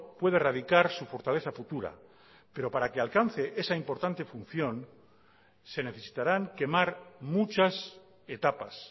puede erradicar su fortaleza futura pero para que alcance esa importante función se necesitarán quemar muchas etapas